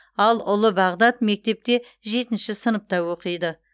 ал ұлы бағдат мектепте жетінші сыныпта оқиды